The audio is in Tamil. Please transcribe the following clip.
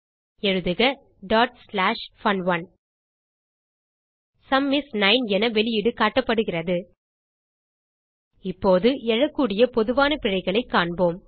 எழுதுக fun1 சும் இஸ் 9 என வெளியீடு காட்டப்படுகிறது இப்போது எழக்கூடிய பொதுவான பிழைகளைக் காணலாம்